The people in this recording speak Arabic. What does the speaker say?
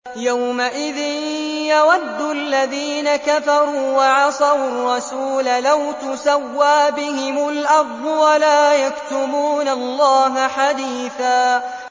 يَوْمَئِذٍ يَوَدُّ الَّذِينَ كَفَرُوا وَعَصَوُا الرَّسُولَ لَوْ تُسَوَّىٰ بِهِمُ الْأَرْضُ وَلَا يَكْتُمُونَ اللَّهَ حَدِيثًا